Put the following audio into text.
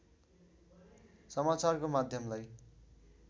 समाचारको माध्यमलाई